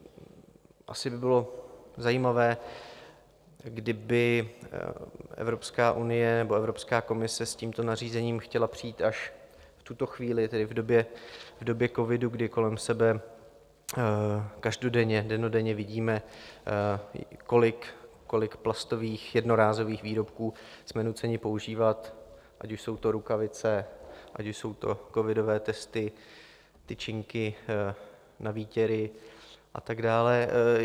Asi by bylo zajímavé, kdyby Evropská unie nebo Evropská komise s tímto nařízením chtěla přijít až v tuto chvíli, tedy v době covidu, kdy kolem sebe dennodenně vidíme, kolik plastových jednorázových výrobků jsme nuceni používat, ať už jsou to rukavice, ať už jsou to covidové testy, tyčinky na výtěry a tak dále.